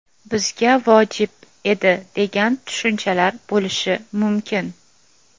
bizga vojib edi degan tushunchalar bo‘lishi mumkin.